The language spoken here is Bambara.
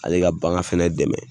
Ale ka bagan fana dɛmɛ